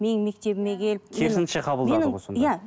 менің мектебіме келіп